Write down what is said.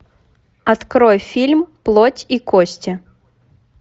открой фильм плоть и кости